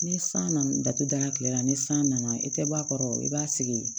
Ni san nana datugu da la kile la ni san nana i tɛ bɔ a kɔrɔ i b'a sigi